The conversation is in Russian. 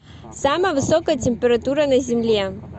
самая высокая температура на земле